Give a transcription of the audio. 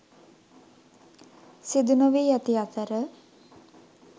සිදු නොවී ඇති අතර